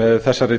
með þessari